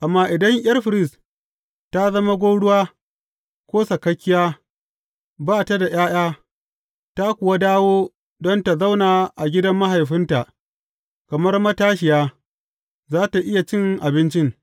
Amma idan ’yar firist ta zama gwauruwa ko sakakkiya, ba ta da ’ya’ya, ta kuwa dawo don tă zauna a gidan mahaifinta kamar matashiya, za tă iya cin abincin.